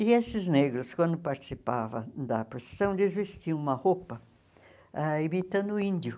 E esses negros, quando participavam da procissão, eles vestiam uma roupa ah imitando o índio.